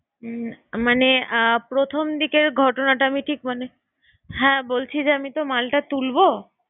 উম মানে আহ প্রথমদিকের ঘটনাটা আমি ঠিক মানে হ্যাঁ বলছি যে আমি তো মালটা তুলবো